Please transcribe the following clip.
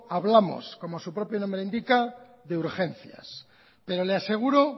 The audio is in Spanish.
hablamos como su propio nombre indica de urgencias pero le aseguro